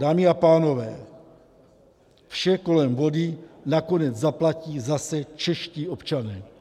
Dámy a pánové, vše kolem vody nakonec zaplatí zase čeští občané.